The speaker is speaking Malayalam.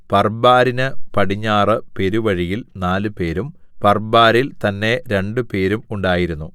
പർബാരിന് പടിഞ്ഞാറു പെരുവഴിയിൽ നാലുപേരും പർബാരിൽ തന്നേ രണ്ടുപേരും ഉണ്ടായിരുന്നു